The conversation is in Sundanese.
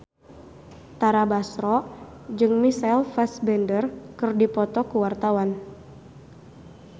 Tara Basro jeung Michael Fassbender keur dipoto ku wartawan